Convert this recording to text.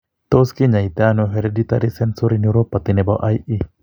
Tos kinyaaytano hereditary sensory neuropathy nebo IE?